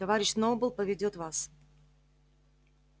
товарищ сноуболл поведёт вас